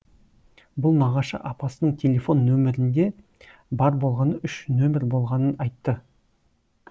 бұл нағашы апасының телефон номерінде бар болғаны үш номер болғанын айтты